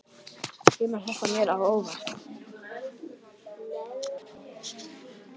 Kemur þetta mér á óvart?